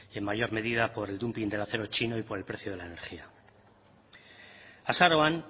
en mayor medida por el dumping del acero chino y por el precio de la energía azaroan